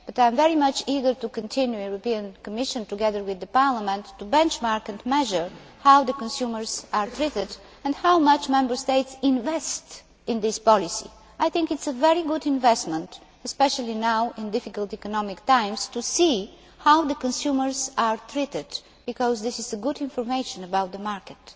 I am very eager to continue in the European Commission, together with Parliament, to benchmark and measure how consumers are treated and how much Member States invest in this policy. I think it is a very good investment, especially now in difficult economic times, to see how consumers are treated, because this gives good information about the market.